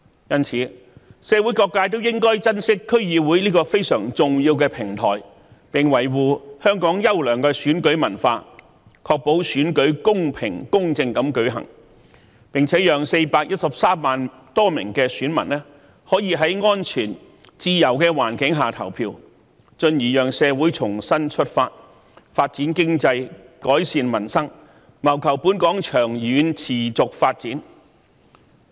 因此，社會各界應珍惜區議會這個非常重要的平台，並維護香港優良的選舉文化，確保選舉公平、公正地舉行，並且讓413萬多名選民可在安全、自由的環境下投票，進而讓社會重新出發，發展經濟，改善民生，謀求本港的長遠持續發展。